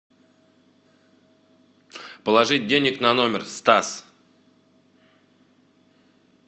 положить денег на номер стас